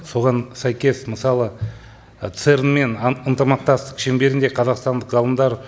соған сәйкес мысалы церн мен ынтымақтастық шеңберінде қазақстандық ғалымдар